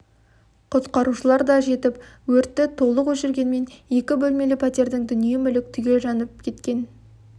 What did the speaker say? құтқарушылар да жетіп өртті толық өшіргенмен екі бөлмелі пәтердің дүние мүлік түгел жанып жанып кеткен